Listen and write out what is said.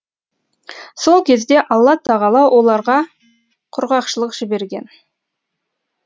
сол кезде алла тағала оларға құрғақшылық жіберген